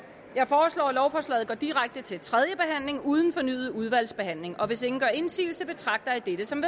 jeg foreslår at lovforslaget går direkte til tredje behandling uden fornyet udvalgsbehandling hvis ingen gør indsigelse betragter jeg dette som